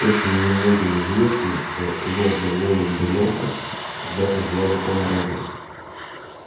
очень немногим известно что лорда волан де морта когда-то звали том реддл